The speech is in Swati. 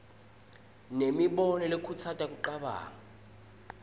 nemibono lekhutsata kucabanga